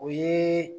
O ye